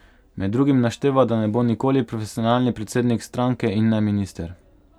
Med drugim našteva, da ne bo nikoli profesionalni predsednik stranke in ne minister.